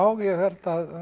ég held